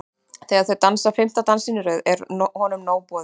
Þegar þau dansa fimmta dansinn í röð er honum nóg boðið.